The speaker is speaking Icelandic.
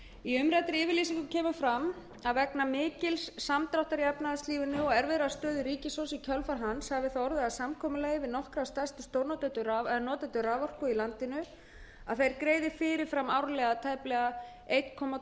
í umræddri yfirlýsingu kemur fram að vegna mikils samdráttar í efnahagslífinu og erfiðrar stöðu ríkissjóðs í kjölfar hans hafi það orðið að samkomulagi við nokkra stærstu notendur raforku í landinu að þeir greiði fyrir fram tæplega eitt komma